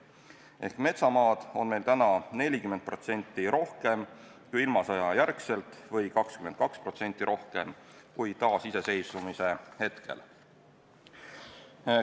Ehk metsamaad on meil täna 40% rohkem kui ilmasõja järel või 22% rohkem kui taasiseseisvumise hetkel.